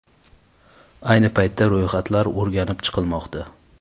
Ayni paytda ro‘yxatlar o‘rganib chiqilmoqda.